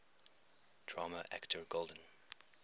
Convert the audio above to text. drama actor golden